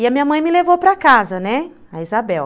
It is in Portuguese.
E a minha mãe me levou para casa, né, a Isabel.